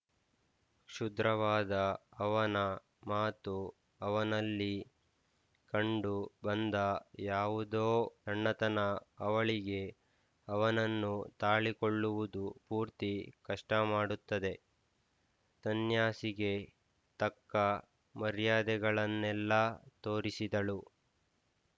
ಕ್ಷುದ್ರವಾದ ಅವನ ಮಾತು ಅವನಲ್ಲಿ ಕಂಡು ಬಂದ ಯಾವುದೊ ಸಣ್ಣತನ ಅವಳಿಗೆ ಅವನನ್ನು ತಾಳಿಕೊಳ್ಳುವುದು ಪೂರ್ತಿ ಕಷ್ಟಮಾಡುತ್ತದೆ ಸನ್ಯಾಸಿಗೆ ತಕ್ಕ ಮರ್ಯಾದೆಗಳನ್ನೆಲ್ಲ ತೋರಿಸಿದಳು